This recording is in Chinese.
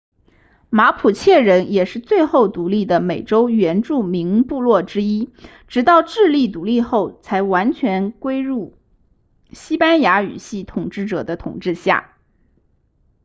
马普切人也是最后独立的美洲原住民部落之一直到智利独立后才完全归入西班牙语系统治者的统治下